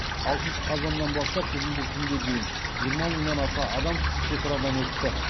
алтыншы қазаннан бастап бүгінгі күнге дейін жиырма мыңнан аса адам шекарадан өтті